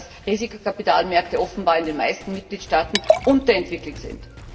Das zeigt, dass Risikokapitalmärkte offenbar in den meisten Mitgliedstaaten unterentwickelt sind.